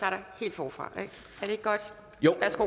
forfra